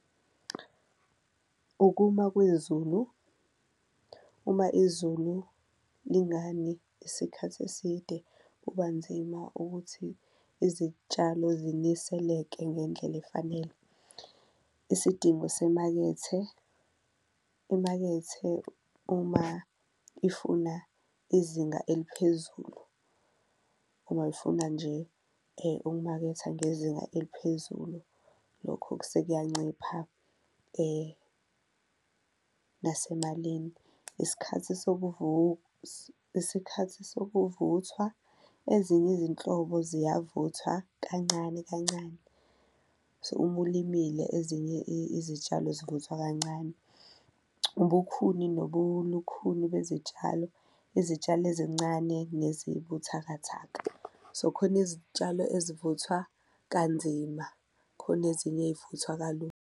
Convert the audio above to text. Ukuma kwezulu uma izulu lingani isikhathi eside kuba nzima ukuthi izitshalo ziniseleke ngendlela efanele. Isidingo semakethe, imakethe uma ifuna izinga eliphezulu uma ifuna nje ukumaketha ngezinga eliphezulu, lokho kusekuyancipha nasemalini. Isikhathi isikhathi sokuvuthwa, ezinye izinhlobo ziyavuthwa kancane kancane so, uma ulimile ezinye izitshalo zivuthwa kancane. Ubukhuni nobulukhuni bezitshalo, izitshalo ezincane nezibuthakatha. So khona izitshalo ezivuthwa kanzima khona ezinye ey'vuthwa kalula.